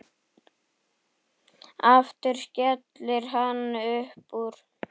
Aftur skellir hann upp úr.